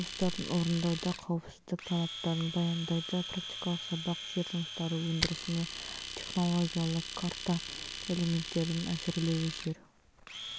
жер жұмыстарын орындауда қауіпсіздік талаптарын баяндайды практикалық сабақ жер жұмыстары өндірісіне технологиялық карта элементтерінің әзірлеуі жер